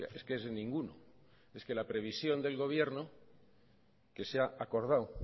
es que es ninguno es que la previsión del gobierno que se ha acordado